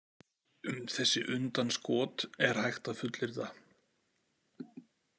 Um þessi undanskot er hægt að fullyrða.